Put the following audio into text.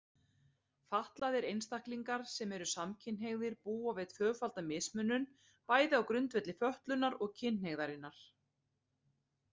Fatlaðir einstaklingar sem eru samkynhneigðir búa við tvöfalda mismunun, bæði á grundvelli fötlunarinnar og kynhneigðarinnar.